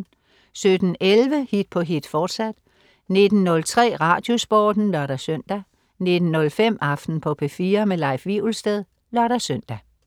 17.11 Hit på hit, fortsat 19.03 Radiosporten (lør-søn) 19.05 Aften på P4. Leif Wivelsted (lør-søn)